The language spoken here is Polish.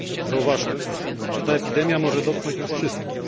Zauważmy, że ta epidemia może dotknąć nas wszystkich.